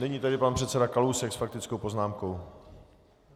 Nyní tedy pan předseda Kalousek s faktickou poznámkou.